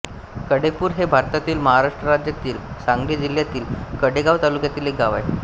कडेपूर हे भारतातील महाराष्ट्र राज्यातील सांगली जिल्ह्यातील कडेगांव तालुक्यातील एक गाव आहे